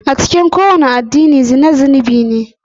A cikin kowane addini zina zunubi ne.